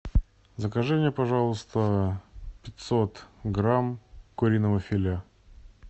закажи мне пожалуйста пятьсот грамм куриного филе